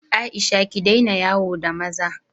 Aisha, ki daina yawo da maza!